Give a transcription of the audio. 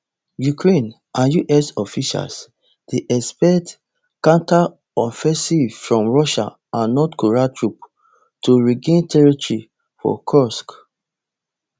ukraine and us officials dey expect counteroffensive from russia and north korean troops to regain territory for kursk